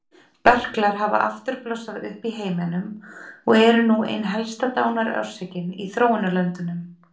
Berklar hafa aftur blossað upp í heiminum og eru nú ein helsta dánarorsökin í þróunarlöndunum.